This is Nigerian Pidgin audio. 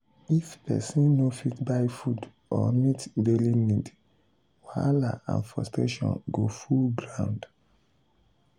if pesin no fit buy food or meet daily need wahala and frustration go full ground.